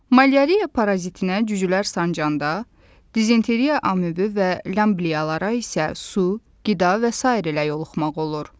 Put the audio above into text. Malyariya parazitinə cücülər sancanda, dizenteriya amöbü və lyamblyalara isə su, qida və sair ilə yoluxmaq olur.